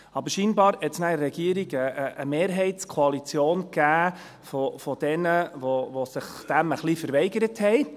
Aber anscheinend gab es in der Regierung eine Mehrheitskoalition derjenigen, die sich dem ein bisschen verweigert haben.